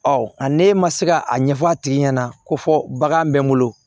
a ne ma se ka a ɲɛfɔ a tigi ɲɛna ko fɔ bagan bɛ n bolo